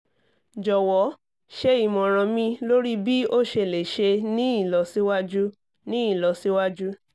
jọwọ ṣe imọran mi lori bi o ṣe le ṣe ni ilọsiwaju ni ilọsiwaju